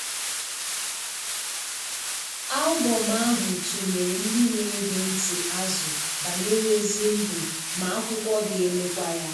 Album ahụ tụnyere ndị na-ege ndị na-ege ntị azụ banyere ezi ndụ, ma akwụkwọ ga-emekwa ya.